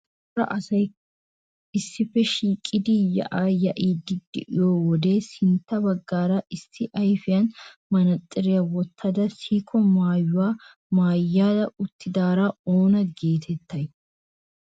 Cora asay issippe shiiqidi yaa'aa yaa'iiddi de'iyo wode sintta baggaara issi ayfiyan manaaxxiriya wottada sikisso maayuwa maaya uttidaara oona geetettay?